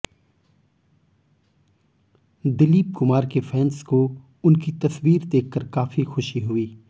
दिलीप कुमार के फैन्स को उनकी तस्वीर देखकर काफी खुशी हुई